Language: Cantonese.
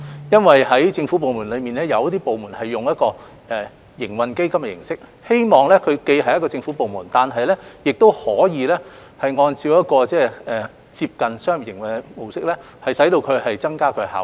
因為在政府部門中，有一些部門是以營運基金的形式運作，希望它既是一個政府部門，又可以按照接近商業的模式營運，以增加其效率。